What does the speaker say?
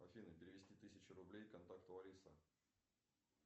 афина перевести тысячу рублей контакту лариса